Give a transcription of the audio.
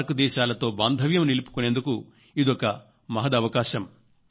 SAARC దేశాలతో బాంధవ్యం నిలుపుకునేందుకు ఇదొక మహదవకాశం